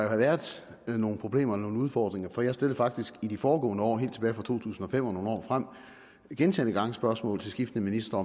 have været nogle problemer og nogle udfordringer for jeg stillede faktisk i de foregående år helt tilbage fra to tusind og fem og nogle år frem gentagne gange spørgsmål til skiftende ministre